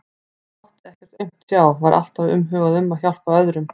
Hann mátti ekkert aumt sjá, var alltaf umhugað um að hjálpa öðrum.